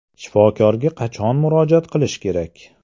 Shifokorga qachon murojaat qilish kerak?